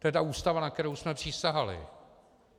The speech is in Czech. To je ta Ústava, na kterou jsme přísahali.